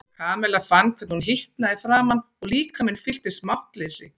Kamilla fann hvernig hún hitnaði í framan og líkaminn fylltist máttleysi.